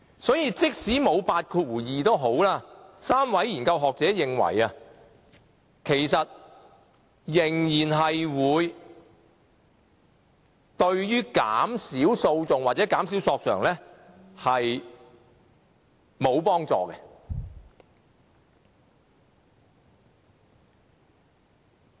所以，即使沒有類似第82條的酌情權 ，3 位學者仍然認為對減少訴訟或索償沒有幫助。